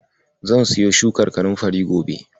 Zan siyo shukar kanunfari gobe